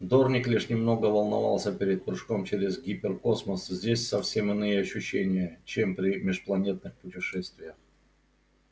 дорник лишь немного волновался перед прыжком через гиперкосмос здесь совсем иные ощущения чем при межпланетных путешествиях